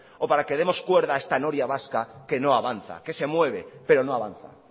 o para que demos cuerda a esta noria vasca que no avanza que se mueve pero no avanza